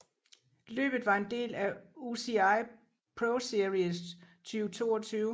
Løbet var en del af UCI ProSeries 2022